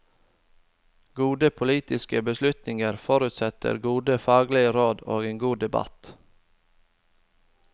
Gode politiske beslutninger forutsetter gode faglige råd og en god debatt.